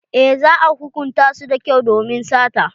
Eh za a hukunta su da kyau domin sata.